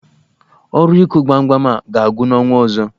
Ọrụ ịkụ gbamgbam a ga-agwụ n'ọnwa ọzọ